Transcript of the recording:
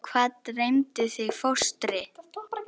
Og hvað dreymdi þig fóstri?